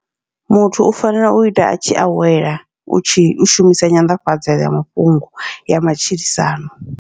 Muthu u fanela uita a tshi awela, u tshi u shumisa nyanḓafhadza ya mafhungo ya matshilisano.